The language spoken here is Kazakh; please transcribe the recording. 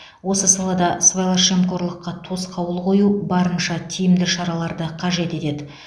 осы салада сыбайлас жемқорлыққа тосқауыл қою барынша тиімді шараларды қажет етеді